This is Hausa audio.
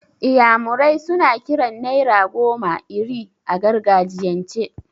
Iyamure suna kiran naira goma 'Iri' a gargajiyan ce.